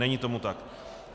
Není tomu tak.